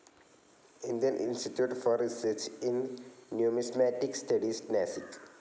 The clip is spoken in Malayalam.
Indian institute for research in numismatic studies, Nashik